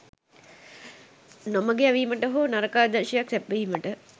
නොමඟ යැවීමට හෝ නරක ආදර්ශයක් සැපයීමට